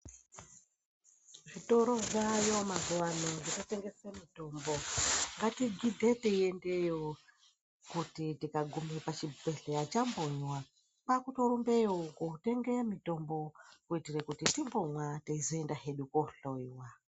Zvitoro zvaayo mazuwa ano zvinotengeswe mitombo .Ngatigidhe teiendeyo kuti tikagume pachibhedhleya chambonywa, kwaakutorumbeyo kotenge mitombo, kuitire kuti timbomwa teizoenda hedu kohloiwa.